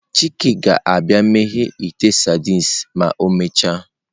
Chike ga-abia meghee ite sardines ma emechaa.